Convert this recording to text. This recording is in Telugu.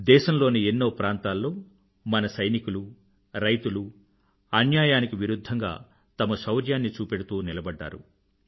దేశం లోని ఎన్నో ప్రాంతాల్లో మన సైనికులు రైతులు అన్యాయానికి విరుధ్ధంగా తమ శౌర్యాన్ని చూపెడుతూ నిలబడ్డారు